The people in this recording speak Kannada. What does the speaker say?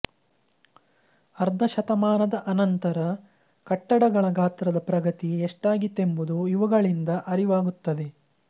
ಅರ್ಧ ಶತಮಾನದ ಅನಂತರ ಕಟ್ಟಡಗಳ ಗಾತ್ರದ ಪ್ರಗತಿ ಎಷ್ಟಾಗಿತ್ತೆಂಬುದು ಇವುಗಳಿಂದ ಅರಿವಾಗುತ್ತದೆ